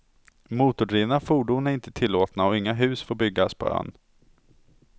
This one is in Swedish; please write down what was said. Motordrivna fordon är inte tillåtna och inga hus får byggas på ön.